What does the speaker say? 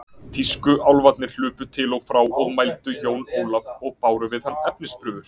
Tískúálfarnir hlupu til og frá og mældu Jón Ólaf og báru við hann efnisprufur.